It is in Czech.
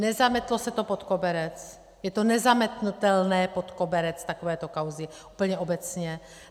Nezametlo se to pod koberec, je to nezametnutelné pod koberec, takovéto kauzy, úplně obecně.